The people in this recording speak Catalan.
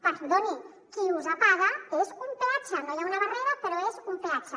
perdoni qui usa paga és un peatge no hi ha una barrera però és un peatge